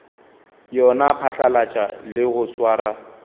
yona phatlalatša le go swara